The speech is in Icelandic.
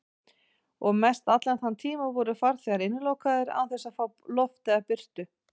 Og mestallan þann tíma voru farþegar innilokaðir án þess að fá loft eða birtu.